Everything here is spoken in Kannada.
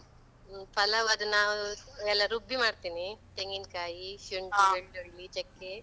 ಹ್ಮ್, ಪಲಾವ್ ಅದು ನಾವು ಎಲ್ಲ ರುಬ್ಬಿ ಮಾಡ್ತೀನಿ, ತೆಂಗಿನ್ಕಾಯಿ, ಶುಂಠಿ, ಬೆಳ್ಳುಳ್ಳಿ, ಚೆಕ್ಕೆ.